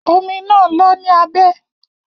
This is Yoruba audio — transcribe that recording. Omi naa lọ ní abẹ́.